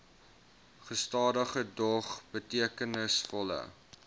gestadige dog betekenisvolle